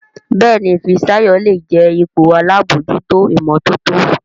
Béèni Fisayo lẹ jé ipò àlabòjuto imototo.